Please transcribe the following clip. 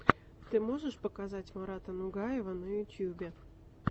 ты можешь показать марата нугаева на ютубе